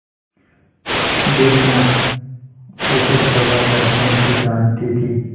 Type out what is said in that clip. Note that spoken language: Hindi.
बुढ़िया खूसट दवादरपन भी जानती थी